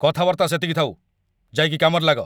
କଥାବାର୍ତ୍ତା ସେତିକି ଥାଉ, ଯାଇକି କାମରେ ଲାଗ!